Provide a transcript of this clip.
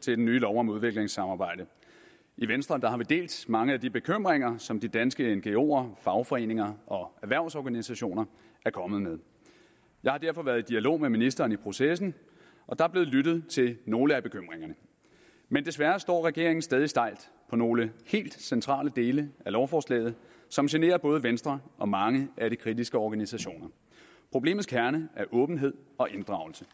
til den nye lov om udviklingssamarbejde i venstre har vi delt mange af de bekymringer som de danske ngoer fagforeninger og erhvervsorganisationer er kommet med og jeg har derfor været i dialog med ministeren i processen og der er blevet lyttet til nogle af bekymringerne men desværre står regeringen stadig stejlt på nogle helt centrale dele af lovforslaget som generer både venstre og mange af de kritiske organisationer problemets kerne er åbenhed og inddragelse